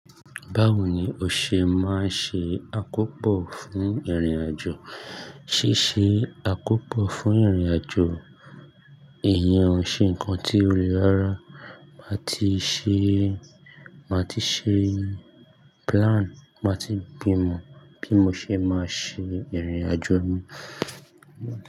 Báwo ni o ṣe máa ṣe àkópò fún ìrìn-àjò? Sí ṣe àkópọ̀ fún ìrìn-àjò èèyàn ṣe nǹkan tí ó le rárá ti ṣe, máa ti ṣe plan, máa ti bímọ bí mo ṣe máa ṣe ìrìn-àjò mi.